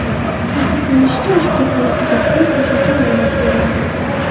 Ta’kidlanishicha, ushbu holat yuzasidan qo‘shimcha ma’lumot beriladi.